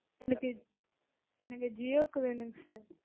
எனக்கு எனக்கு ஜியோக்கு வேணும்ங்க sir.